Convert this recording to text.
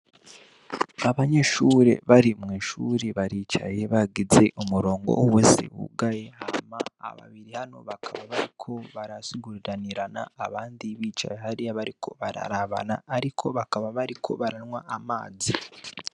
Abanyeahure bari mw’ishuri baricaye bagize umurongo uhese wugaye hama aba babiri hano bakaba bariko barasiguriranirana , abandi bicaye hariya bariko bararabana ariko bakaba bariko baranwa amazi .